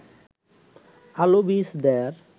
আলু বীজ দেয়ার